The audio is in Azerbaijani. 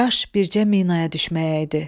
Kaş bircə minaya düşməyəydi.